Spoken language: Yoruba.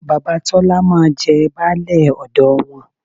Bàbá Tọ́lá máa jẹ baálẹ̀ ọ̀dọ wọn